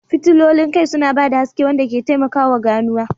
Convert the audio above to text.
Fitilolin kai suna ba da haske wanda ke taimakawa ganuwa.